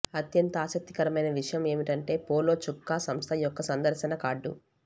అత్యంత ఆసక్తికరమైన విషయం ఏమిటంటే పోలో చొక్కా సంస్థ యొక్క సందర్శన కార్డు